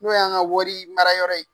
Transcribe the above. N'o y'an ka wari mara yɔrɔ ye